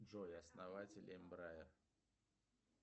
джой основатель эмбрая